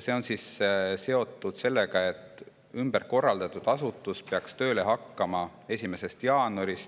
See on seotud sellega, et ümber korraldatud asutus peaks tööle hakkama 1. jaanuaril